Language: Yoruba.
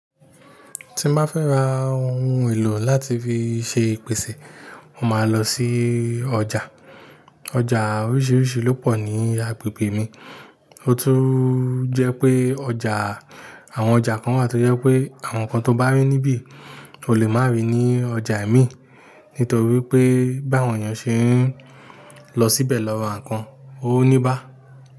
Tí má fẹ́ ra ohun èlò láti fi ṣe ìpèsè, mo máa ń lọ sí ọjà. Ọjà oríṣiríṣi ló pọ̀ ní agbègbè mi, o tún jẹ́ pé ọjà àwọn ọjà kan wa ti o jẹ́ pé àwọn nǹkan tó bá rí níbí kò lè máa rí ní ọjà mìí nítorí pé báwon yen ṣe ń lọ síbẹ̀ lọ ra nǹkan, ó ní bá.